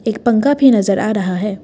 एक पंखा भी नजर आ रहा है।